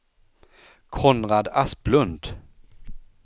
Konrad Asplund